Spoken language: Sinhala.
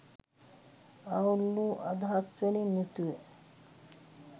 අවුල් වූ අදහස්වලින් යුතුව